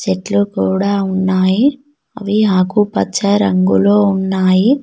చెట్లు కూడా ఉన్నాయి అవి ఆకుపచ్చ రంగులో ఉన్నాయి.